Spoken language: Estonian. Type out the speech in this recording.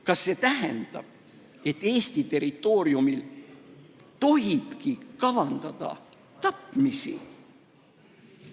Kas see tähendab, et Eesti territooriumil tohibki kavandada tapmisi?